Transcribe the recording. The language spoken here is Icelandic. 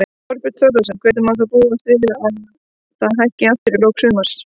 Þorbjörn Þórðarson: Þannig að má búast við að það hækki aftur í lok sumars?